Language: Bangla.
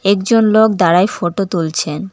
একজন লোক দাঁড়ায় ফটো তুলছেন।